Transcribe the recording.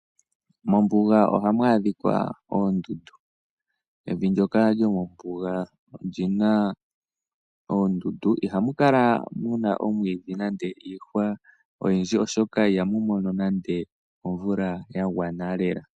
Mombuga ohamu adhika oondundu. Evi ndyoka lyomombuga oli na oondundu. Ihamu kala mu na omwiidhi nande iihwa oyindji, oshoka ihamu mono nande omvula ya gwana lela.